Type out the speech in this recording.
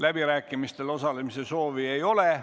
Läbirääkimistel osalemise soovi ei ole.